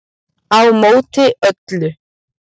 Á móti öllu